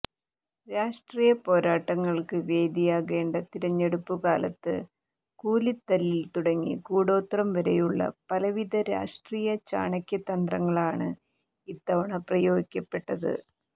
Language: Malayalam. രാഷ്ട്രീയ പോരാട്ടങ്ങൾക്ക് വേദിയാകേണ്ട തിരഞ്ഞെടുപ്പു കാലത്ത് കൂലിത്തല്ലിൽ തുടങ്ങി കൂടോത്രം വരെയുള്ള പലവിധ രാഷ്ട്രീയ ചാണക്യ തന്ത്രങ്ങളാണ് ഇത്തവണ പ്രയോഗിക്കപ്പെട്ടത്